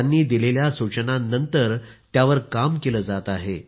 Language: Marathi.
त्यांनी दिलेल्या सूचनांनंतर त्यावर काम केले जात आहे